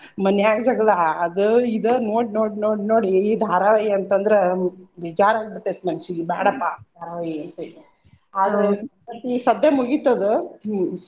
ಮನ್ಯಾಗ್ ಜಗಳಾ ಅದೊ ಇದೊ ನೋಡ್ ನೋಡ್ ನೋಡ್ ನೋಡಿ ಈ ಧಾರವಾಹಿ ಅಂತ ಅಂದ್ರ ಬೇಜಾರ ಆಗ್ಬಿಟ್ತೈತಿ ಮನ್ಸಿಗಿ ಬ್ಯಾಡಾಪಾ ಧಾರವಾಹಿ ಅಂತೇಳಿ ಈ ಸದ್ದ ಮುಗಿತದ ಹ್ಮ್.